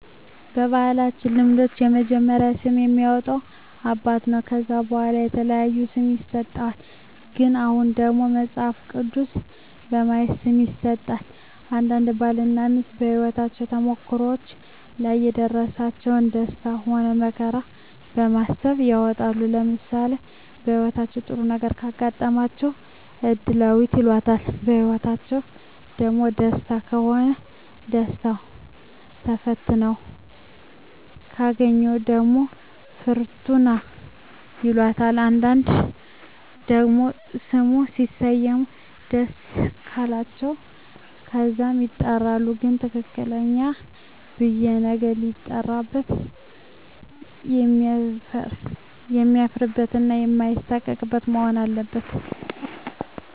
በባህላዊ ልምዶች የመጀመሪያውን ስም የሚያወጣ አባት ነው ከዛ በዋላ የተለያየ ስም ይሰጥሃል ግን አሁን ደግሞ መጸሀፍ ቅዱስ በማየት ስም ይሠጣል አንዳንዴም ባል እና ሜስት በሄወት ተሞክሮዎች ላይ የደረሰባቸው ደስታ ሆነ መከራ በማሰብ ይወጣል ለምሳሌ በህይወታቸው ጥሩ ነገረ ካጋጠማቸው እድላዌት ይላታል በህይወትአቸዉ ደግሞ ደስተኛ ከሆኑ ደስታው ተፈትነው ካገኛት ደግሞ ፍርቱና ይላታል አንዳንዴ ደግሞ ስሙ ሲሰሙት ደስ ቃላቸው በዛም ይጠራሉ ግን ትክክለኛው ብየ ነገ ሲጠራበት የማያፍርበት እና ማይሳቀቅበት መሆን አለበት